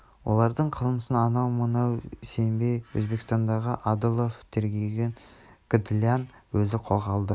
олардың қылмысын анау-мынауға сенбей өзбекстандағы адылов тергеген гдлян өзі қолға алды